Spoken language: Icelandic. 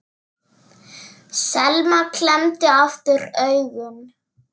Selma klemmdi aftur augun.